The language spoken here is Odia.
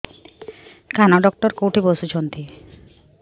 କାନ ଡକ୍ଟର କୋଉଠି ବସୁଛନ୍ତି